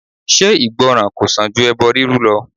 Ṣé ìgbọ́ràn kò sàn ju ẹbọ rírú lọ?